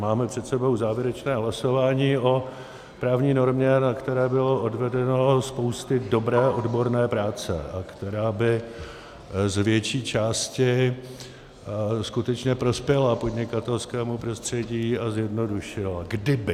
Máme před sebou závěrečné hlasování o právní normě, na které bylo odvedena spousta dobré odborné práce a která by z větší části skutečně prospěla podnikatelskému prostředí a zjednodušila - kdyby.